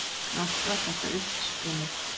Allt var þetta uppspuni